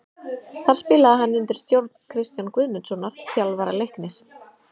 Þar spilaði hann undir stjórn Kristjáns Guðmundssonar, þjálfara Leiknis.